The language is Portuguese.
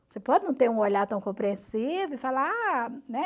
Você pode não ter um olhar tão compreensível e falar, ah, né?